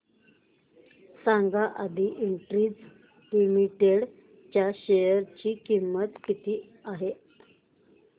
सांगा Aadi industries limited च्या share ची किंमत किती आहे